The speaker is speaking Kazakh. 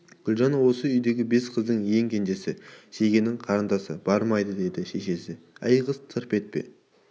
гүлжан осы үйдегі бес қыздың ең кенжесі шегенің қарындасы бармайды деді шешесі әй қыз тырп етпе